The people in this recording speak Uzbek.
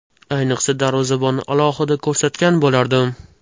Ayniqsa darvozabonni alohida ko‘rsatgan bo‘lardim.